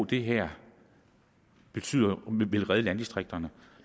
det her vil redde landdistrikterne